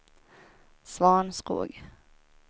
Svanskog